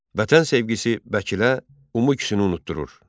Vətən sevgisi Vəkile, Umukuşu unutdurur.